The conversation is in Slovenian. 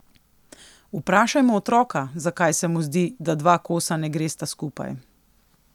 Vprašajmo otroka, zakaj se mu zdi, da dva kosa ne gresta skupaj.